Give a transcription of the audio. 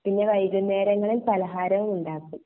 പിന്നെ വൈകുന്നേരങ്ങളിൽ പലകാരവും ഉണ്ടാക്കും